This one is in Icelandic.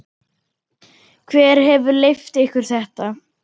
Hver hefur leyft ykkur þetta?